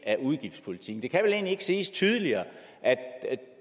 af udgiftspolitikken det kan vel egentlig ikke siges tydeligere at